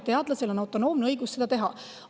Teadlasel on autonoomne õigus seda teha.